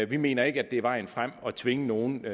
vi mener ikke det er vejen frem at tvinge nogen